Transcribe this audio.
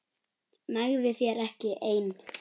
Nægði þér ekki ein?